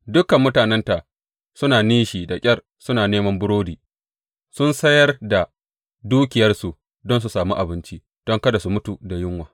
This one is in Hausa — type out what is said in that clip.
Dukan mutanenta suna nishi da ƙyar suna neman burodi; sun sayar da dukiyarsu don su samu abinci don kada su mutu da yunwa.